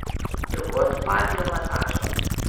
Drugod vadijo masažo.